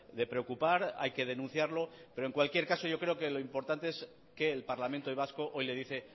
de preocupar hay que denunciarlo pero en cualquier caso yo creo que lo importante es que el parlamento vasco hoy le dice